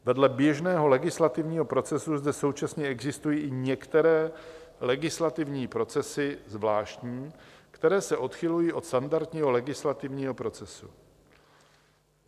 Vedle běžného legislativního procesu zde současně existují i některé legislativní procesy zvláštní, které se odchylují od standardního legislativního procesu.